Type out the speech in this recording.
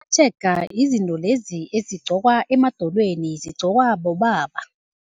Amatshega zizinto lezi ezigqokwa emadolweni, zigqokwa bobaba.